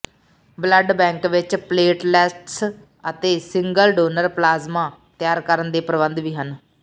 blood bank ਵਿੱਚ platelets ਅਤੇ single donor plasma ਤਿਆਰ ਕਰਨ ਦੇ ਪ੍ਰਬੰਧ ਵੀ ਹਨ